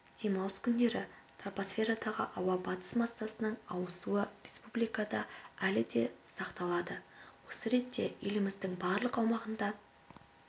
демалыс күндері тропосферадағы ауа батыс массасының ауысуы республикада әлі де сақталады осы ретте еліміздің барлық аумағында